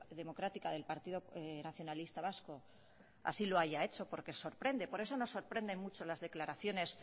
democrática del partido nacionalista vasco así lo haya hecho porque sorprende por eso nos sorprenden mucho las declaraciones